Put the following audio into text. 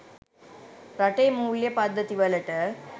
රටේ මූල්‍ය පද්ධති වලට